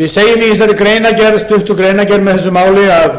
við segjum í þessari stuttu greinargerð með þessu máli að